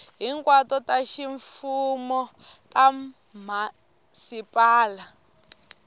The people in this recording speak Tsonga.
hinkwato ta ximfumo ta mhasipala